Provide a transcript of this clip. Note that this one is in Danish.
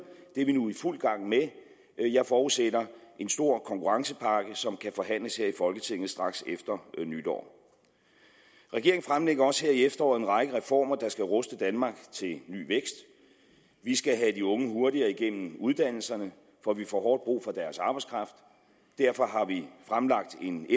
det er vi nu i fuld gang med jeg forudsætter en stor konkurrencepakke som kan forhandles her i folketinget straks efter nytår regeringen fremlægger også her i efteråret en række reformer der skal ruste danmark til ny vækst vi skal have de unge hurtigere igennem uddannelserne for vi får hårdt brug for deres arbejdskraft derfor har vi fremlagt en